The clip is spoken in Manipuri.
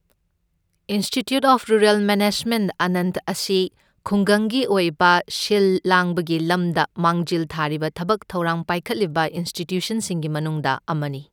Institute of rural management Anand ꯑꯁꯤ ꯈꯨꯡꯒꯪꯒꯤ ꯑꯣꯏꯕ ꯁꯤꯜ ꯂꯥꯡꯕꯒꯤ ꯂꯝꯗ ꯃꯥꯡꯖꯤꯜ ꯊꯥꯔꯤꯕ ꯊꯕꯛ ꯊꯧꯔꯥꯡ ꯄꯥꯏꯈꯠꯂꯤꯕ ꯏꯟꯁꯇꯤꯇ꯭ꯌꯨꯁꯟꯁꯤꯡꯒꯤ ꯃꯅꯨꯡꯗ ꯑꯃꯅꯤ꯫